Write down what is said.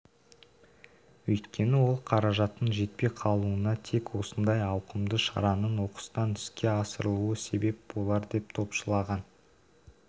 өйткені ол қаражаттың жетпей қалуына тек осындай ауқымды шараның оқыстан іске асырылуы себеп болар деп топшылаған